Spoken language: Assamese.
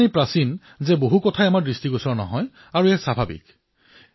ইমানেই প্ৰাচীন যে বহু কথা আমাৰ মনলৈ নাহে আৰু এয়া স্বাভাৱিকো